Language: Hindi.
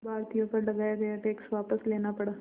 भारतीयों पर लगाया गया टैक्स वापस लेना पड़ा